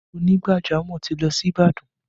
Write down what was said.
Onígbàjamọ̀ ti lọ sí Ìbàdàn